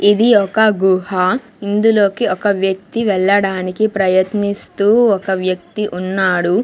ఇది ఒక గుహ ఇందులోకి ఒక వ్యక్తి వెళ్లడానికి ప్రయత్నిస్తూ ఒక వ్యక్తి ఉన్నాడు.